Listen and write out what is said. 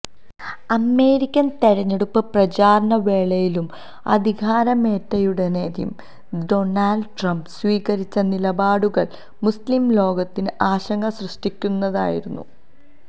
American തെരഞ്ഞെടുപ്പ് പ്രചാരണ വേളയിലും അധികാരമേറ്റയുടനെയും ഡോണൾഡ് ട്രംപ് സ്വീകരിച്ച നിലപാടുകൾ മുസ്ലിം ലോകത്തിന് ആശങ്ക സൃഷ്ടിക്കുന്നതായിരുന്നു